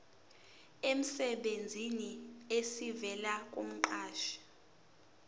emsebenzini esivela kumqashi